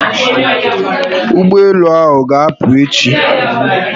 Ụgbọelu ahụ ga'apụ echi